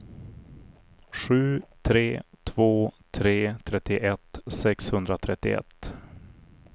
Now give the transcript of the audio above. sju tre två tre trettioett sexhundratrettioett